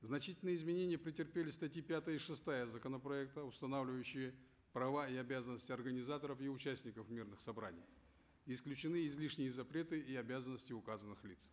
значительные изменения претерпели статьи пятая и шестая законопроекта устанавливающие права и обязанности организаторов и участников мирных собраний исключены излишние запреты и обязанности указанных лиц